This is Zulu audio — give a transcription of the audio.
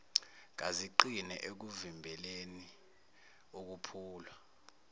kaziqine ekuvimbeleni ukuphulwa